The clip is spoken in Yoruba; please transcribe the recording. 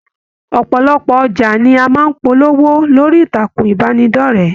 Ọpọlọpọ ọjà ní a máa n polówó lórí ìtàkùn ìbánidọ̀rẹ̀.